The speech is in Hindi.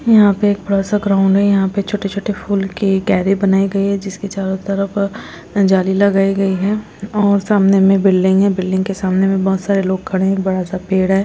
यहाँ पे एक बड़ा सा ग्राउंड है यहाँ पे छोटे-छोटे फूलों की क्यारी बनाई गये है जिसके चारों तरफ अ जाली लगाई गई है और सामने में बिल्डिंग है बिल्डिंग के सामने बहुत सारे लोग खड़े हैं बड़ा सा पेड़--